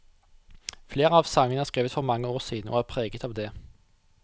Flere av sangene er skrevet for mange år siden, og er preget av det.